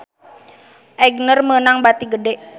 Aigner meunang bati gede